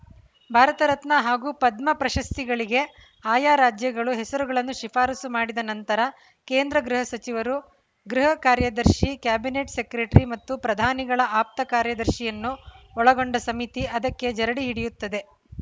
ಭಾರತರತ್ನ ಹಾಗೂ ಪದ್ಮ ಪ್ರಶಸ್ತಿಗಳಿಗೆ ಆಯಾ ರಾಜ್ಯಗಳು ಹೆಸರುಗಳನ್ನು ಶಿಫಾರಸು ಮಾಡಿದ ನಂತರ ಕೇಂದ್ರ ಗೃಹ ಸಚಿವರು ಗೃಹ ಕಾರ್ಯದರ್ಶಿ ಕ್ಯಾಬಿನೆಟ್‌ ಸೆಕ್ರೆಟರಿ ಮತ್ತು ಪ್ರಧಾನಿಗಳ ಆಪ್ತ ಕಾರ್ಯದರ್ಶಿಯನ್ನು ಒಳಗೊಂಡ ಸಮಿತಿ ಅದಕ್ಕೆ ಜರಡಿ ಹಿಡಿಯುತ್ತದೆ